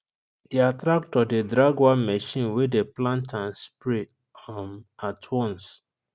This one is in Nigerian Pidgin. their tractor dey drag one machine wey dey plant and spray um at once